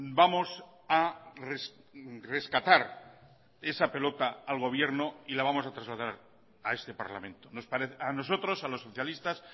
vamos a rescatar esa pelota al gobierno y la vamos a trasladar a este parlamento a nosotros a los socialistas